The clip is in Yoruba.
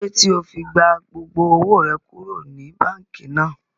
Kílódé tí ó fi gba gbogbo owó rẹ kúrò ní báànkì náà?